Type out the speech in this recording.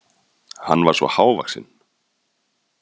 Hann var svo hávaxinn.